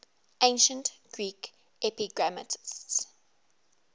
ancient greek epigrammatists